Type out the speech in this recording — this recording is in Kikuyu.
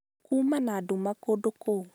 Kuuma na nduma kũndũ kũu.